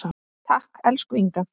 Takk, elsku Inga.